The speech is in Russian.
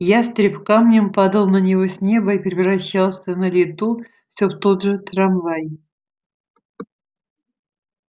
ястреб камнем падал на него с неба и превращался на лету все в тот же трамвай